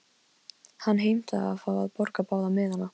Hann heimtaði að fá að borga báða miðana.